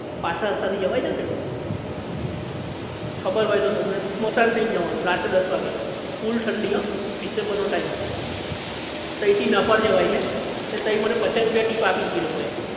પાછલા રસ્તા થી જવાય છે ને પહેલો ખબર હોય ને તમને સ્મશાન થઇ ને જવાનું રાત્રે દસ વાગે ફૂલ ઠંડી હન ડિસેમ્બર નો time તહી થી નહપાળ જવાય છે તો તઇ મને પચાસ રૂપિયા tip આપી હતી એ લોકો એ